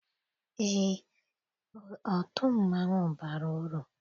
Eé, otu mmanwụ bara uru.